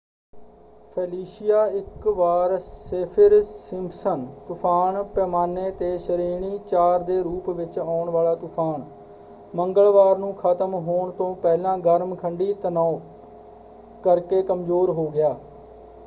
Felicia ਇੱਕ ਵਾਰ Saffir Simpson ਤੁਫ਼ਾਨ ਪੈਮਾਨੇ 'ਤੇ ਸ਼੍ਰੇਣੀ 4 ਦੇ ਰੂਪ ਵਿੱਚ ਆਉਣ ਵਾਲਾ ਤੂਫਾਨ ਮੰਗਲਵਾਰ ਨੂੰ ਖਤਮ ਹੋਣ ਤੋਂ ਪਹਿਲਾਂ ਗਰਮ ਖੰਡੀ ਤਣਾਉ ਕਰਕੇ ਕਮਜ਼ੋਰ ਹੋ ਗਿਆ।